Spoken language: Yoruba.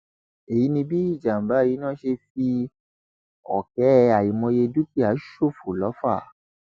èyí ni bí ìjàmbá iná ṣe fi ọkẹ àìmọye dúkìá ṣòfò lọfà